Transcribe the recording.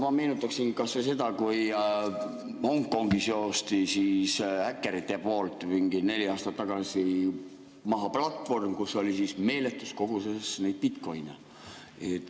No ma meenutaksin kas või seda, et Hongkongis joosti häkkerite poolt mingi neli aastat tagasi maha platvorm, kus oli meeletus koguses bitcoin'e.